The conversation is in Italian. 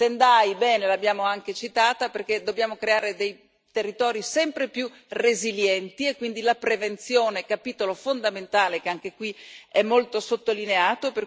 Sendai, bene, l'abbiamo anche citata perché dobbiamo creare dei territori sempre più resilienti e quindi la prevenzione è un capitolo fondamentale che anche qui è molto sottolineato.